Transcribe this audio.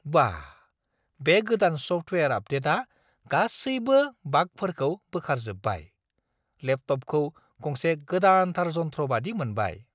वाह, बे गोदान सफ्टवेआर आपडेटआ गासैबो बागफोरखौ बोखारजोब्बाय। लेपटपखौ गंसे गोदानथार जन्थ्र बायदि मोनबाय।